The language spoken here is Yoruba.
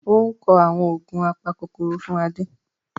Ó ń kọ àwọn oògùn apakòkòrò fún Adé